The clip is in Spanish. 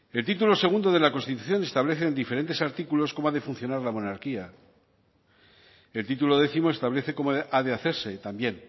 el título segundo de la constitución establece en diferentes artículos cómo ha de funcionar la monarquía y el título décimo establece cómo ha de hacerse también